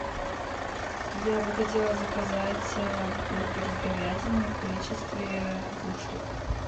я бы хотела заказать бургер с говядиной в количестве двух штук